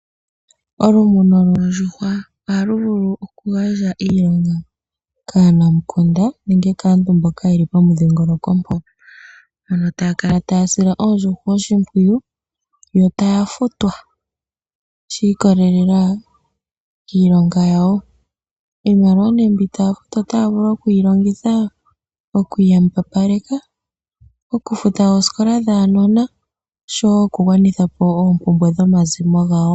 Okumuna oondjuhwa ohaku vulu okugandja iilonga kaanamukunda nenge kaantu mboka ye li pomudhingoloko mpoka. Moka taya kala haya sile oondjuhwa oshimpwiyu yo taya futwa shi ikolelela kiilonga yawo. Iilonga mbyoka taya futwa otaya vulu okuyi longitha oku iyambapaleka, okufuta oosikola dhaanona noshowo okugwanitha po oompumbwe dhomazimo gawo.